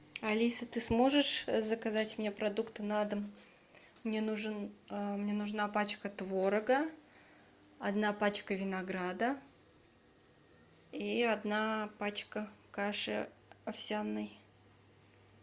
алиса ты сможешь заказать мне продукты на дом мне нужен мне нужна пачка творога одна пачка винограда и одна пачка каши овсяной